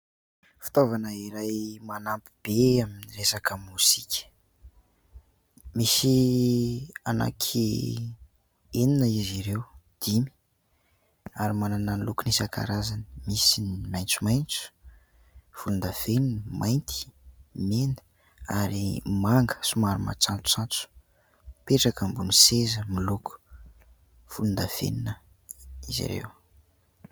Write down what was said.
Fitaovana iray manampy be amin'ny resaka mozika. Misy anaky enina izy ireo, dimy, ary manana ny lokony isan-karazany : misy ny maitsomaitso, volondavenona, mainty, mena, ary manga somary matsatsotsatso. Mipetraka ambony seza miloko volondavenona izy ireo.